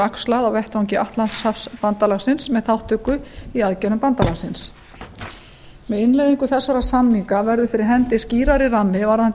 axlað á vettvangi atlantshafsbandalagsins með þátttöku í aðgerðum bandalagsins með innleiðingu þessara samninga verður fyrir hendi skýrari rammi varðandi